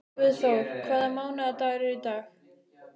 Guðþór, hvaða mánaðardagur er í dag?